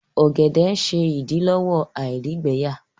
ògèdè ṣe idilọwọ àìrígbẹyà